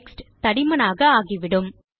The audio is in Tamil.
டெக்ஸ்ட் தடிமனாக ஆகிவிடும்